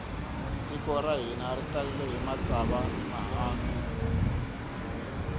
tiko ra hina ri talele hi matsava ni mihandzu